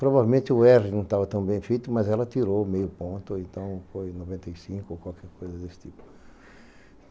Provavelmente o erre não estava tão bem feito, mas ela tirou meio ponto, então foi noventa e cinco ou qualquer coisa desse tipo.